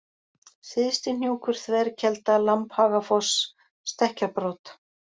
Syðstihnjúkur, Þverkelda, Lambhagafoss, Stekkjarbrot